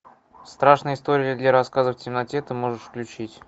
страшные истории для рассказов в темноте ты можешь включить